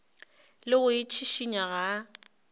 le go itšhišinya ga a